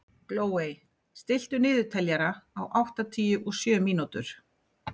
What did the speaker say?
Glóey, stilltu niðurteljara á áttatíu og sjö mínútur.